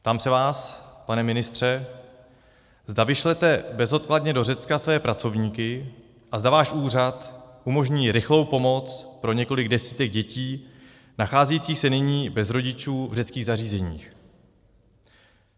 Ptám se vás, pane ministře, zda vyšlete bezodkladně do Řecka své pracovníky a zda váš úřad umožní rychlou pomoc pro několik desítek dětí nacházejících se nyní bez rodičů v řeckých zařízeních.